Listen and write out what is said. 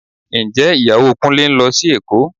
Ǹjẹ́ Ìyàwó Kúnlé ń lọ sí Èkó